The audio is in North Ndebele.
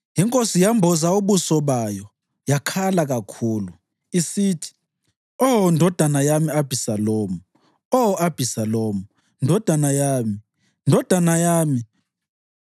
Inkosi yamboza ubuso bayo yakhala kakhulu isithi, “Oh ndodana yami Abhisalomu! Oh Abhisalomu, ndodana yami, ndodana yami!”